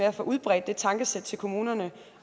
at få udbredt det tankesæt til kommunerne